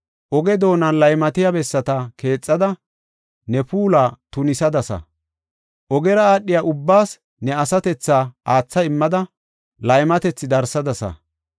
Oge doonan laymatiya bessata keexada, ne puula tunisadasa; ogera aadhiya ubbaas ne asatethaa aatha immada, laymatethi darsadasa.